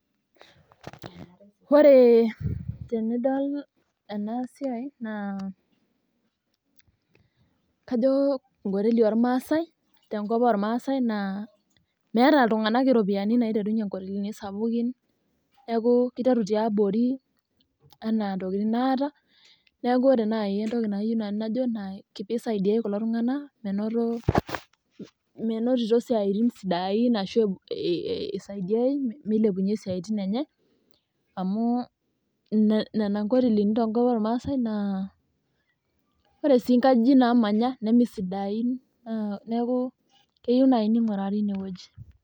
Ore tenidol ena siai naa kajo enkoteli ormaasai tenkop ormaasai naa meeta iltung'anak iropiyiani naaiterunye inkotelini sapukin neeku kiteru tiabori enaa ntokiting naata. Neeku ore naai entoki nanu najo naa pee eisaidiai kulo tung'anak menotito isiatin sidain ashuu eisaidiai meilepunye isaitin enye amu nena inkotelini tenkop ormaasai naa ore sii inkajijik naamanya nemeesidain neeku keyieu naai neing'uraari ine wueji